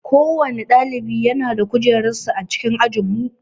Kowanne ɗalibi yana da kujerar sa a cikin ajinmu